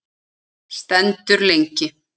Stendur lengi.